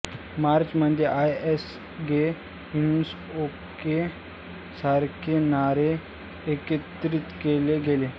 मोर्चमध्ये I am gay it's okay सारखे नारे एकत्रित केले गेले